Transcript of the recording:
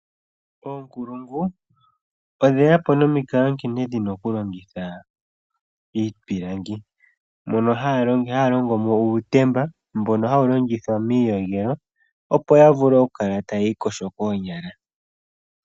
Oonkulungu odheya po nomikalo nkene dhina okulongitha iipilangi, moka haya longo mo uutemba mboka hawu longithwa miiyogelo opo yavule okukala tayi iiiyogo koonyala.